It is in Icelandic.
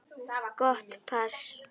Gott pass.